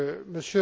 vous